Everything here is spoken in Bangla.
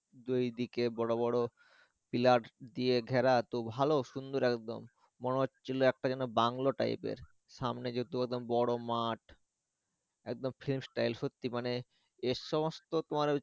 দুই দিকে বড় বড় pillar দিয়ে ঘেরা তো ভালো সুন্দর একদম মনে হচ্ছিলো একটা যেনো বাংলো type এর সামনে যেহেতু একদম বড় মাঠ একদম সত্যি মানে এসমস্ত তোমার ওই।